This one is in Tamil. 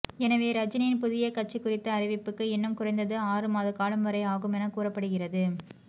எனவே ரஜினியின் புதிய கட்சி குறித்த அறிவிப்புக்கு இன்னும் குறைந்தது ஆறுமாத காலம் வரை ஆகும் என கூறப்படுகிறது